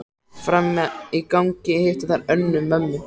Frammi í gangi hittu þær Önnu, mömmu